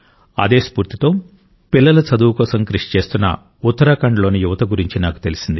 అదే స్ఫూర్తితో పిల్లల చదువు కోసం కృషి చేస్తున్న ఉత్తరాఖండ్లోని యువత గురించి నాకు తెలిసింది